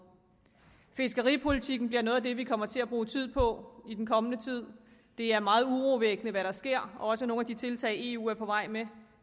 fiskeripolitikken bliver noget af det vi kommer til at bruge tid på i den kommende tid det er meget urovækkende hvad der sker også nogle af de tiltag eu er på vej med